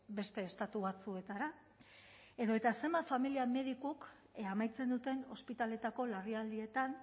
beste estatu batzuetara edota zenbat familia medikuk amaitzen duten ospitaleetako larrialdietan